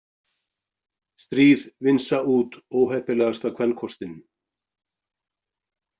Stríð vinsa út óheppilegasta kvenkostinn